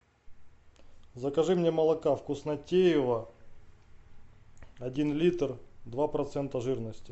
закажи мне молока вкуснотеево один литр два процента жирности